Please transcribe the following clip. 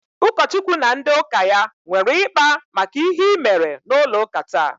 Ụkọchukwu na ndị ụka ya nwere ịkpa maka ihe i mere n'ụlọ ụka taa?